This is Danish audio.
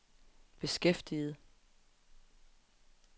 beskæftiget